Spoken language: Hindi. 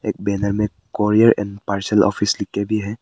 एक बैनर में कुरियर एंड पार्सल ऑफिस लिख के भी है।